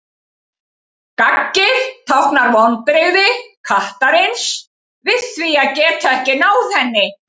Gaggið táknar vonbrigði kattarins við því að geta ekki náð henni.